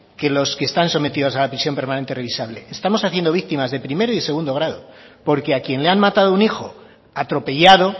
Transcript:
que los que están sometidos a la prisión permanente revisable estanos haciendo víctimas de primero y de segundo grado porque a quien le han matado un hijo atropellado